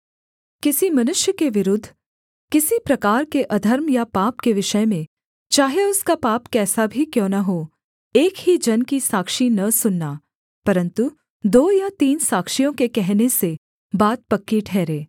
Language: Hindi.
किसी मनुष्य के विरुद्ध किसी प्रकार के अधर्म या पाप के विषय में चाहे उसका पाप कैसा ही क्यों न हो एक ही जन की साक्षी न सुनना परन्तु दो या तीन साक्षियों के कहने से बात पक्की ठहरे